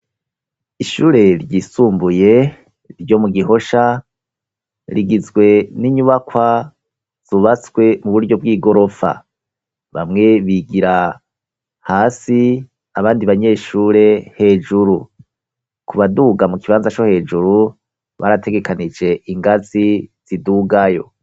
Ishure ryisumbuye ryo mu Gihosha, rigizwe n'inyubakwa zubatswe mu buryo bw'igorofa, bamwe bigira hasi abandi banyeshure hejuru. Ku baduga mu kibanza co hejuru barategekanije ingazi zidugayo.